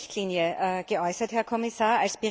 14. Richtlinie geäußert, Herr Kommissar.